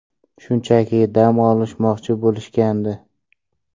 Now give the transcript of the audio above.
Shunchaki dam olmoqchi bo‘lishgandi.